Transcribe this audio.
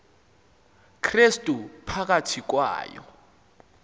krestu phakathi kwayo